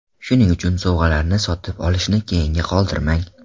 Shuning uchun, sovg‘alarni sotib olishni keyinga qoldirmang.